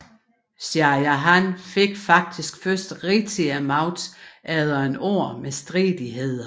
Shah Jahan fik faktisk først rigtigt magten efter et år med stridigheder